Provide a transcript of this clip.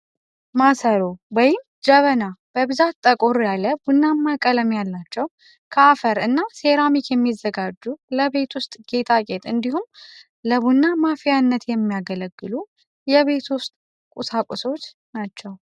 ማሰሮ (ጀበና) በብዛት ጠቆር ያለ ቡናማ ቀለም ያላቸው ከአፈር እና ሴራሚክ የሚዘጋጁ ለቤት ውስጥ ጌጣጌጥ እንዲሁም ለቡና ማፍያነት የሚያገለግሉ የቤት ውስጥ ቁሳቁሶች ናቸው።